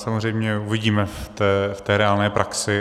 Samozřejmě uvidíme v té reálné praxi.